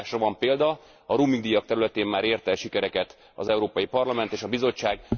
A megoldásra van példa, a roamingdíjak területén már ért el sikereket az Európai Parlament és a Bizottság.